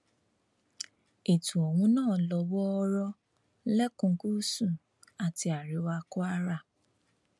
ètò ohun náà ló wọọrọ lẹkùn gúúsù àti àríwá kwara